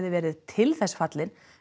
verið til þess fallin